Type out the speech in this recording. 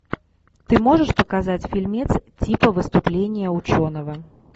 ты можешь показать фильмец типа выступление ученого